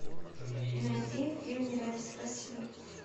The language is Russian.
найди фильм не родись красивой